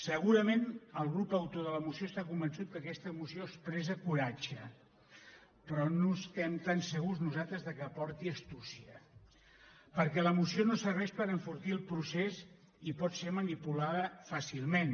segurament el grup autor de la moció està convençut que aquesta moció expressa coratge però no estem tan segurs nosaltres que porti astúcia perquè la moció no serveix per enfortir el procés i pot ser manipulada fàcilment